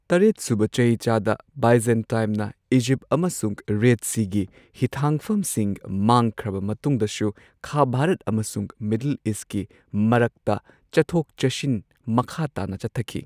ꯇꯔꯦꯠꯁꯨꯕ ꯆꯍꯤꯆꯥꯗ ꯕꯥꯏꯖꯟꯇꯥꯢꯝꯅ ꯏꯖꯤꯞ ꯑꯃꯁꯨꯡ ꯔꯦꯗ ꯁꯤꯒꯤ ꯍꯤꯊꯥꯡꯐꯝꯁꯤꯡ ꯃꯥꯡꯈꯤꯕ ꯃꯇꯨꯡꯗꯁꯨ ꯈꯥ ꯚꯥꯔꯠ ꯑꯃꯁꯨꯡ ꯃꯤꯗꯜ ꯏꯁꯠꯀꯤ ꯃꯔꯛꯇ ꯆꯠꯊꯣꯛ ꯆꯠꯁꯤꯟ ꯃꯈꯥ ꯇꯥꯅ ꯆꯠꯊꯈꯤ꯫